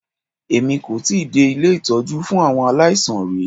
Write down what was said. Èmi kò tíì dé ilé ìtọ́jú fún àwọn aláìsàn rí.